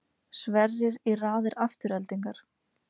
Sverrir í raðir Aftureldingar